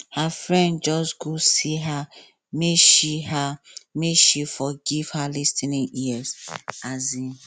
her friend just go see her make she her make she for give her lis ten ing ear um